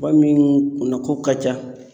Maa min kunna ko ka ca